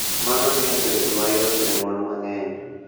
Mano miyo bedo mayot ne mon mang�eny .